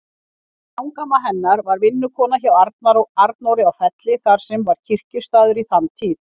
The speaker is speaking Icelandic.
Langamma hennar var vinnukona hjá Arnóri á Felli, þar sem var kirkjustaður í þann tíð.